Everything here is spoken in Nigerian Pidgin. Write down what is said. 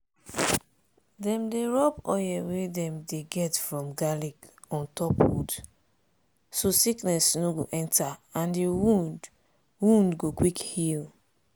dem dey rub oil wey dem dey get from garlic on top wound so sickness no go enta and di wound wound go quick heal.